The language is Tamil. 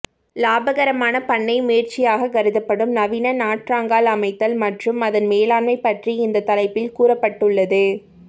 இலாபகரமான பண்ணை முயற்சியாக கருதப்படும் நவீன நாற்றங்கால் அமைத்தல் மற்றும் அதன் மேலாண்மை பற்றி இந்த தலைப்பில் கூறப்பட்டுள்ளது